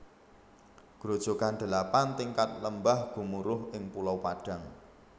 Grojogan Delapan Tingkat Lembah Gemuruh ing Pulau Padang